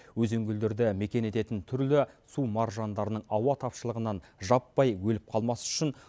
өзен көлдерді мекен ететін түрлі су маржандарының ауа тапшылығынан жаппай өліп қалмасы үшін